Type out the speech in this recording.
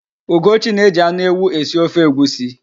Ugochi na-eji anụ ewu esi ofe egwusi.